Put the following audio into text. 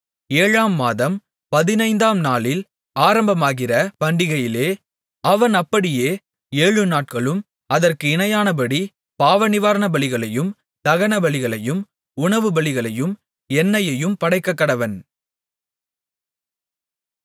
ஏழாம் மாதம் பதினைந்தாம் நாளில் ஆரம்பமாகிற பண்டிகையிலே அவன் அப்படியே ஏழுநாட்களும் அதற்கு இணையானபடி பாவநிவாரணபலிகளையும் தகனபலிகளையும் உணவுபலிகளையும் எண்ணெயையும் படைக்கக்கடவன்